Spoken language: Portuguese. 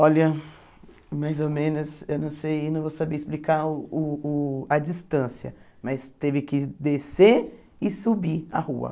Olha, mais ou menos, eu não sei, não vou saber explicar uh uh a distância, mas teve que descer e subir a rua.